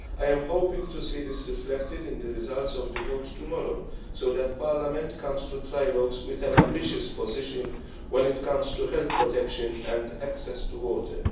I am hoping to see this reflected in the results of the vote tomorrow so that Parliament comes to trilogues with an ambitious position when it comes to health protection and access to water.